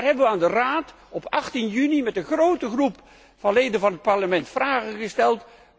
Daarover hebben wij aan de Raad op 18 juni met een grote groep leden van het Parlement vragen gesteld.